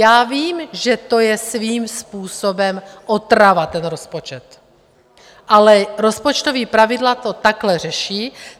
Já vím, že to je svým způsobem otrava, ten rozpočet, ale rozpočtová pravidla to takhle řeší.